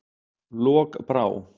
Lokbrá